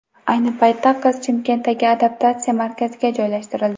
Ayni paytda qiz Chimkentdagi adaptatsiya markaziga joylashtirildi.